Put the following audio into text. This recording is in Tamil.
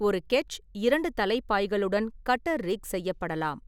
ஒரு கெட்ச் இரண்டு தலை பாய்களுடன் கட்டர்-ரிக் செய்யப்படலாம்.